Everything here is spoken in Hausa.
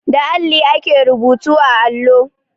Da alli ake rubutu a allo.